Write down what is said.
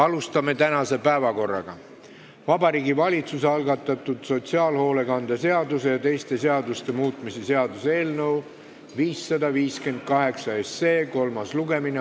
Läheme tänase päevakorra juurde: Vabariigi Valitsuse algatatud sotsiaalhoolekande seaduse ja teiste seaduste muutmise seaduse eelnõu 558 kolmas lugemine.